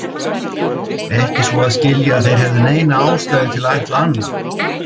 Ekki svo að skilja, að þeir hefðu neina ástæðu til að ætla annað.